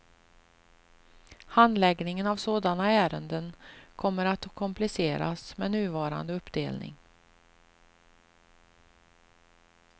Handläggningen av sådana ärenden kommer att kompliceras med nuvarande uppdelning.